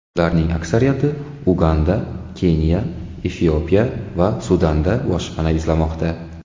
Ularning aksariyati Uganda, Keniya, Efiopiya va Sudanda boshpana izlamoqda.